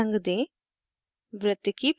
इसे हरा रंग दें